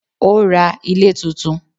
Ó ra ilé tuntun